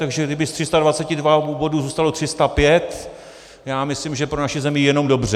Takže kdyby z 322 bodů zůstalo 305, já myslím, že pro naši zemi jenom dobře.